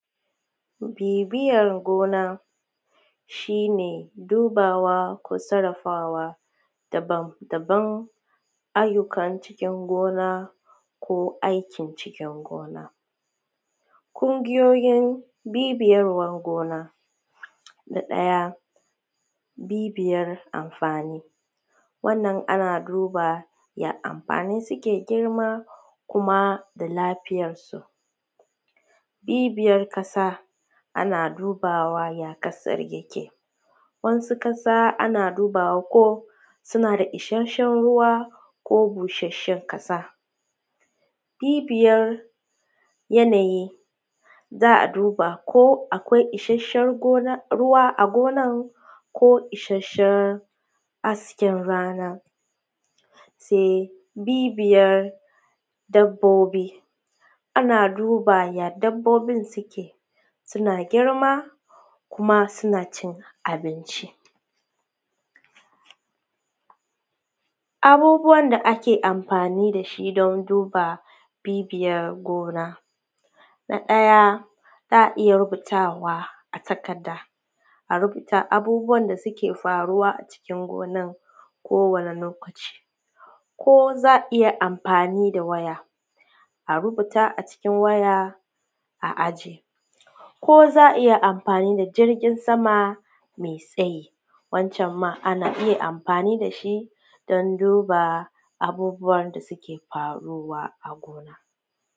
Bibiyar gona, shi ne dubawa ko sarafawa daban-daban ayyukan cikin gona ko aikin cikin gona, kungiyoyin bibiyar gona, na ɗaya bibiyar amfani, wannan ana duba ya amfani suke girma kuma da lafiyar su, bibiyar ƙasa ana dubawa ya ƙasar yake, wasu ƙasa ana dubawa ko suna da isasshen ruwa ko busheshen ƙasa, bibiyar yanayi za a duba ko akwai isasshen ruwa a gonan ko isasshen hasken rana, sai bibiyar dabbobi, ana duba ana duba ya dabbobin suke, suna girma kuma suna cin abinci abubuwan da ake amfani da shi don duba bibiyar gona, na ɗaya za a iya rubutawa a takarda a rubuta abubuwan da suke faruwa a cikin gonan kowani lokaci ko za a iya amfani da waya a rubuta a cikin waya a ajiye ko za a iya amfani da jirgin sama mai tsayi, wancan ma ana iya amfani da shi dan duba abubuwan da suke faruwa a gona.